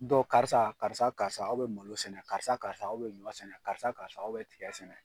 karisa, karisa, karisa, aw bɛ malo sɛnɛ, karisa, karisa, aw bɛ ɲɔ sɛnɛ, karisa, karisa, aw bɛ tiga sɛnɛ!